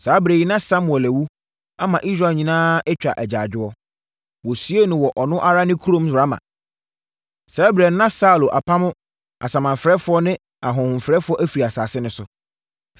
Saa ɛberɛ yi na Samuel awu, ama Israel nyinaa atwa agyaadwoɔ. Wɔsiee no wɔ ɔno ara ne kurom Rama. Saa ɛberɛ no, na Saulo apamo asamanfrɛfoɔ ne ahohomfrɛfoɔ afiri asase no so.